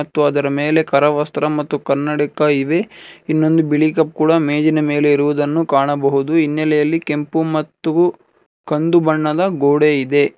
ಮತ್ತು ಅದರ ಮೇಲೆ ಕರವಸ್ತ್ರ ಮತ್ತು ಕನ್ನಡಕ ಇವೆ ಇನ್ನೊಂದು ಬಿಳಿ ಕಪ್ಪು ಕೂಡ ಮೇಜಿನ ಮೇಲೆ ಇರುವುದನ್ನು ಕಾಣಬಹುದು ಹಿನ್ನೆಲೆಯಲ್ಲಿ ಕೆಂಪು ಮತ್ತು ಕಂದು ಬಣ್ಣದ ಗೋಡೆ ಇದೆ.